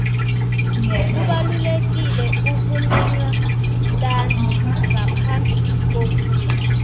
kubalulekile ukumenywa ntanzi ngaphambi kokuya